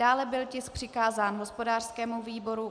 Dále byl tisk přikázán hospodářskému výboru.